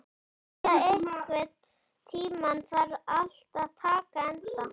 Thea, einhvern tímann þarf allt að taka enda.